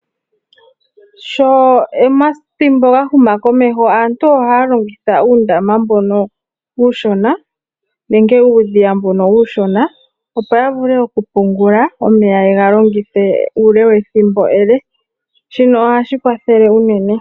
Sho omathimbo gahuma komeho aantu ohaya longitha uundama mbono uushona nenge uudhiya mbono uushona opo yavule okupungula omeya yegalongithe uule wethimbo ele, shino ohashi kwathele uunene.